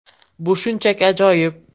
Bu shunchaki ajoyib.